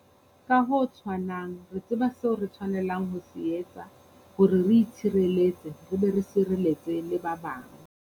Ka ho tshwanang, re tseba seo re tshwanelang ho se etsa hore re itshireletse re be re sireletse le ba bang.